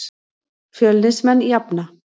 Fjölnismenn jafna.